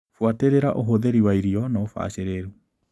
Buatĩrĩra ũhũthĩri wa irio na ũbacĩrĩru.